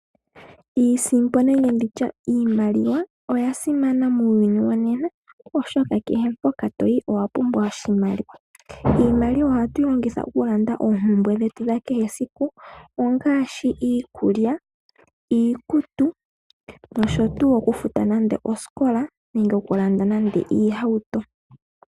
Iisimpo nenge iimaliwa oyasimana muuyuni wongashingeyi molwaashoka kehe mpokatoyi owapumbwa oshimaliwa . Iimaliwa ohatu yi longitha okulanda oompumbwe dhetu dhayoolokathana dhesiku kehe ngaashi iikulya , iizalomwa, okufuta omanongelo, okulanda iitukutuku noshotuu .